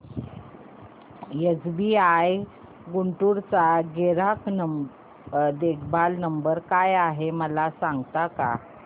SBI Guntur चा ग्राहक देखभाल नंबर काय आहे मला सांगता का